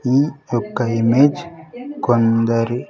ఈ యొక్క ఇమేజ్ కొందరి--